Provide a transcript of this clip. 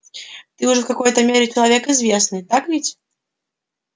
ты уже в какой-то мере человек известный так ведь